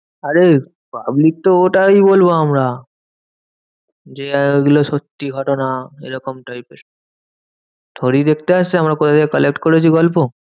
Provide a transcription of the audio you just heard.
আরে public তো ওটাই বলবো আমরা। যে ওগুলো সত্যি ঘটনা এরকম type এর থোরিই দেখতে আসছে আমরা কোথা থেকে collect করেছি গল্প?